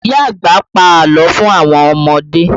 Ìyá àgbà pa àlọ́ fún àwọn ọmọdé